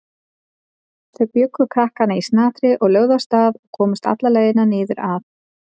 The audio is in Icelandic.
Þau bjuggu krakkana í snatri og lögðu af stað og komust alla leið niður að